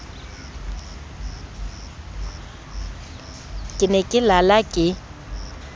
ke ne ke lala ke